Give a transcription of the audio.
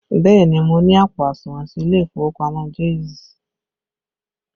Bẹẹ ni, mo ní àpò àsùnwọ̀n sí ilé ìfowópamọ́ Jaiz